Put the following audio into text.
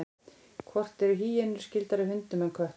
hvort eru hýenur skyldari hundum eða köttum